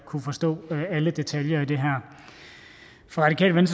kunne forstå alle detaljer i det her fra radikale